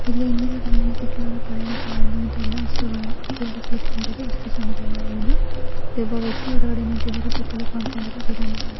ಇಲ್ಲಿ ಹಿಂದಿನ ಕಾಲದಲ್ಲಿ ಸಿಕ್ಕಿರುವ ಪಳೆಯುಳಿಕೆ--